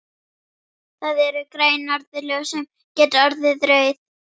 Það eru græn norðurljós sem geta orðið rauð.